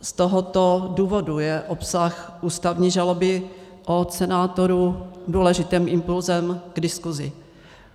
Z tohoto důvodu je obsah ústavní žaloby od senátorů důležitým impulsem k diskusi.